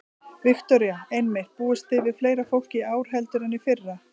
Viktoría: Einmitt, búist þið við fleira fólki í ár heldur en í fyrra?